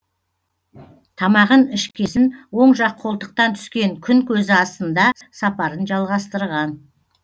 тамағын ішкесін оң жақ қолтықтан түскен күн көзі астында сапарын жалғастырған